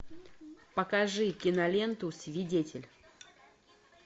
покажи киноленту свидетель